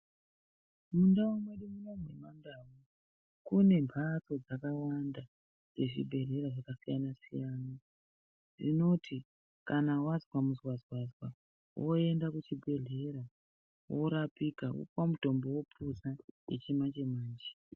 Mundau mwedu mwuno mwemandau kune mbatso dzakawanda dzezvibhedhlera dzakasiyana siyana dzinoti kana wanzwa muzwazwazwa woenda kuchibhedhlera, worapika wopuwa mutombo wopuza yechimanje manje.